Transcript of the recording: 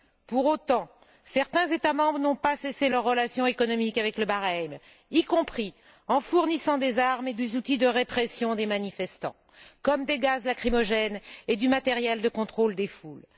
Pour autant, certains États membres n'ont pas rompu leurs relations économiques avec le Bahreïn, y compris en fournissant des armes et des outils de répression des manifestants, comme des gaz lacrymogènes et du matériel de contrôle des foules.